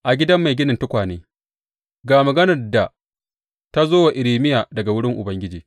A gidan mai ginin tukwane Ga maganar da ta zo wa Irmiya daga wurin Ubangiji.